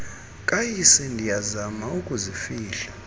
kayise ndiyazama ukuzifihla